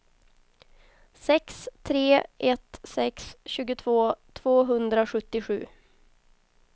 sex tre ett sex tjugotvå tvåhundrasjuttiosju